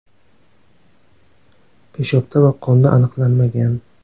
Peshobda va qonda aniqlanmagan.